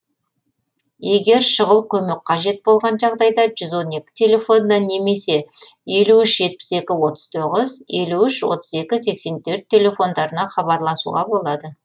егер шұғыл көмек қажет болған жағдайда жүз он екі телефонына немесе елу үш жетпіс екі отыз тоғыз елу үш отыз екі сексен төрт телефондарына хабарласуға болады